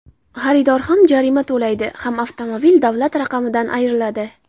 Xaridor ham jarima to‘laydi ham avtomobil davlat raqamidan ayriladi.